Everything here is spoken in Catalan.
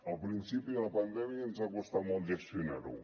al principi de la pandèmia ens va costar molt gestionar ho